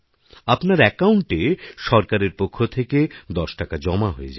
আপনার অ্যাকাউণ্টে সরকারের পক্ষ থেকে দশ টাকা জমা হয়ে যাবে